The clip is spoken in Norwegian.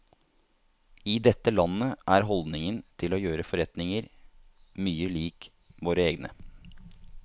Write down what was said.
I dette landet er holdningen til å gjøre forretninger mye lik våre egne.